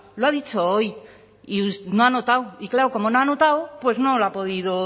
lo ha dicho hoy y no ha anotado y claro como no ha anotado pues no lo ha podido